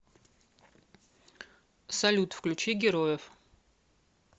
салют включи героев